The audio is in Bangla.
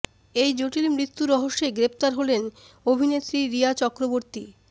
এই জটিল মৃত্যু রহস্যে গ্রেফতার হলেন অভিনেত্রী রিয়া চক্রবর্তী